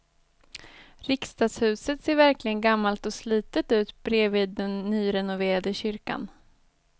Riksdagshuset ser verkligen gammalt och slitet ut bredvid den nyrenoverade kyrkan.